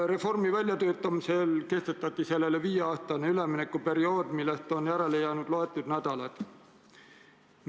Reformi väljatöötamisel kehtestati sellele viieaastane üleminekuperiood, millest praeguseks on järele jäänud vaid mõned nädalad.